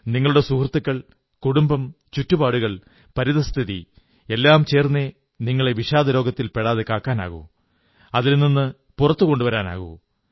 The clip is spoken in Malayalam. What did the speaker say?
നിങ്ങളുടെ സുഹൃത്തുക്കൾ കുടുംബം ചുറ്റുപാടുകൾ പരിതഃസ്ഥിതി എല്ലാം ചേർന്നേ നിങ്ങളെ വിഷാദരോഗത്തിൽ പെടാതെ കാക്കാനാകൂ അതിൽ നിന്ന് പുറത്തു കൊണ്ടുവരാനാകൂ